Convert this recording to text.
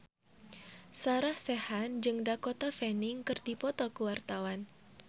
Sarah Sechan jeung Dakota Fanning keur dipoto ku wartawan